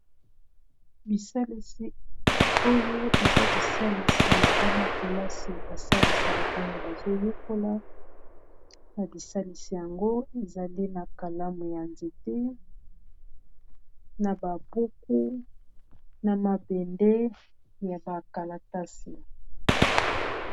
Bisalisi oyo eza bisalisi ya bana-kelasi basalisaka ntango bazoyekola na bisalisi yango ezali na kalamu ya nzete na ba buku na mabende ya ba kalatasi.